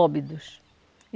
Óbidos.